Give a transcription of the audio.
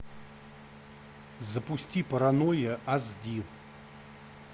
запусти паранойя аш ди